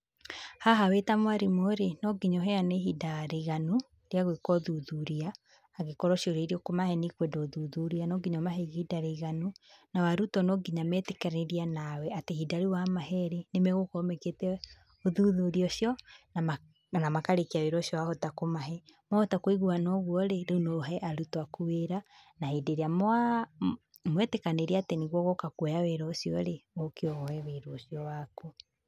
Haha wĩta mwarimũ-rĩ, no nginya ũheane ihinda rĩiganu rĩa gũĩka ũthuthuria, angĩkorwo ciũria irĩa ũkũmahe nĩikwenda ũthuthuria, no nginya ũmahe ihinda rĩiganu, nao arutwo no nginya metĩkĩranie nawe, atĩ ihinda rĩu wa mahee-rĩ, nĩ magũkorwo mekĩte ũthuthuria ũcio, na makarĩkia wĩra ũcio wahota kũmahe, mwahota kũiguana ũguo-rĩ, rĩu no ũhe arutwo aku wĩra, na hĩndĩ ĩrĩa mwetĩkanĩria atĩ nĩguo ũgoka kuoya wĩra ũcio-rĩ, ũke woe wĩra ũcio waku.